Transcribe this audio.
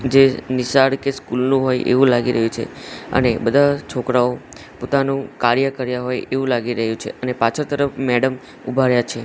જે નિશાળ કે સ્કૂલ નું હોય એવું લાગી રહ્યું છે અને બધા છોકરાઓ પોતાનુ કાર્ય કર્યા હોય એવું લાગી રહ્યું છે અને પાછળ તરફ મેડમ ઉભા રહ્યા છે.